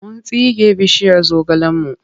Mun tsige bishiyar zogalenmu.